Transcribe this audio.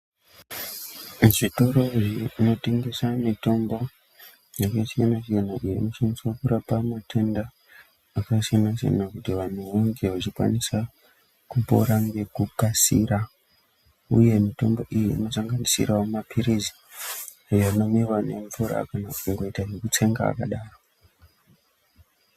Kuzvitoro zvinotengesa mitombo yechizvino zvino inoshandiswa mukurapa matenda akasiyana siyana kuti vanhu vange vachikwanisa kupora ngekukasira, uye mitombo iyi inosanganisira mapirizi anomwiwa ngemvura kana kuite zvekutsenga akadaro.